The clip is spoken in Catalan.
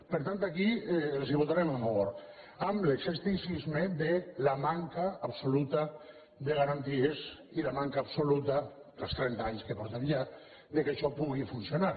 per tant aquí els la votarem a favor amb l’escepticis·me de la manca absoluta de garanties i la manca abso·luta pels trenta anys que fa ja que ho fem que això pu·gui funcionar